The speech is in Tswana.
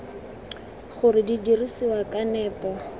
gore di dirisiwa ka nepo